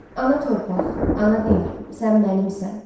Ana torpaq, ana diyar, sən mənimsən.